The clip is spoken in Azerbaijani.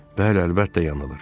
Bəli, əlbəttə yanılır.